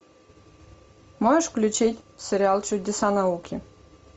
можешь включить сериал чудеса науки